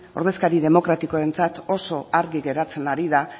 ordezkari demokratikoentzat oso garbi geratzen ari da